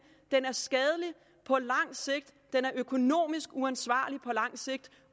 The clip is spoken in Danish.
den er skadelig på lang sigt den er økonomisk uansvarlig på lang sigt